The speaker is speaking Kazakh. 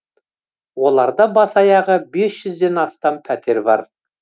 оларда бас аяғы бес жүзден астам пәтер бар